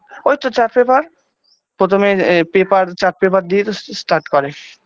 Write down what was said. ওই তো chart paper প্রথমে এ paper chart paper দিয়েই তো এস start করে